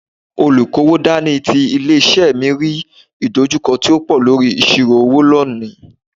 Olukowo dání ti ilé-isé mi rí ìdojúkọ tó pọ̀ lórí ìṣirò owó lónìí.